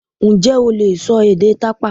Ǹjẹ́ o lè sọ èdè tàpá?